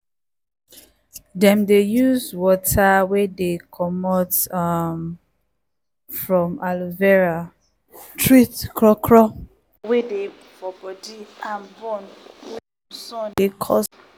dem dey use water wey dey comot um from aloe vera treat crawcraw wey dey for bodi and burn wey sun dey cause